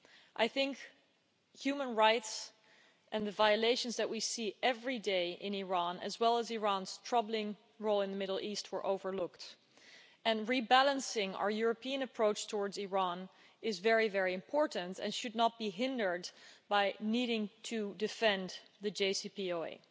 I think human rights and the violations that we see every day in Iran, as well as Iran's troubling role in the Middle East, were overlooked, and rebalancing our European approach towards Iran is very important and should not be hindered by needing to defend the JCPOA.